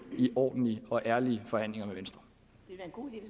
i ordentlige og ærlige forhandlinger